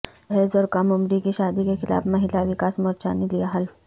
جہیزاور کم عمری کی شادی کے خلاف مہیلا وکاس مورچہ نے لیا حلف